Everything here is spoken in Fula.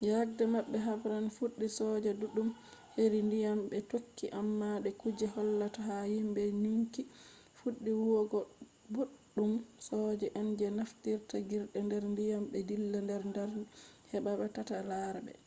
yake habre man fuɗɗi soja ɗuɗɗum heri ndiyam ɓe tokki amma de kuje hollata ha himɓe nyukki fuɗɗi huwugo boɗɗum soja en je naftirta jirgi nder ndiyam ɓe dilla nder nder heɓa taɓe lara ɓe